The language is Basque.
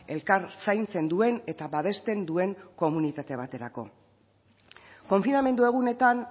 elkar zaintzen duen eta babesten duen komunitate baterako konfinamendu egunetan